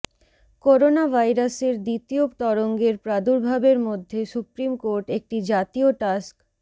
corona ভাইরাসের দ্বিতীয় তরঙ্গের প্রাদুর্ভাবের মধ্যে সুপ্রিম কোর্ট একটি জাতীয় টাস্ক